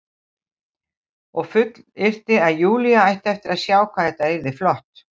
Og fullyrti að Júlía ætti eftir að sjá hvað þetta yrði flott.